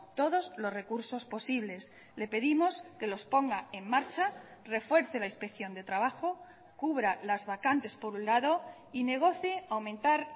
todos los recursos posibles le pedimos que los ponga en marcha refuerce la inspección de trabajo cubra las vacantes por un lado y negocie aumentar